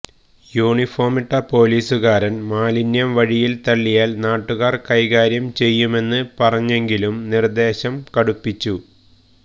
യൂണിഫോമിട്ട പൊലീസുകാരന് മാലിന്യം വഴിയില് തള്ളിയാല് നാട്ടുകാര് കൈകാര്യം ചെയ്യുമെന്ന് പറഞ്ഞെങ്കിലും നിര്ദ്ദേശം കടുപ്പിച്ചു